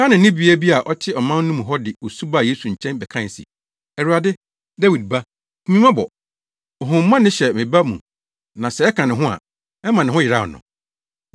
Kanaanni bea bi a ɔte ɔman no mu hɔ de osu baa Yesu nkyɛn bɛkae se, “Awurade, Dawid Ba, hu me mmɔbɔ! Honhommɔne hyɛ me ba mu na sɛ ɛka ne ho a, ɛma ne ho yeraw no.”